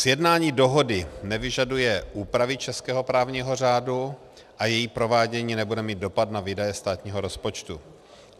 Sjednání dohody nevyžaduje úpravy českého právního řádu a její provádění nebude mít dopad na výdaje státního rozpočtu.